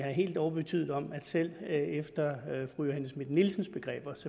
helt overtydet om at selv efter fru johanne schmidt nielsens begreber